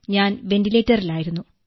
ഞാൻ വന്റിലേറ്ററിലായിരുന്നു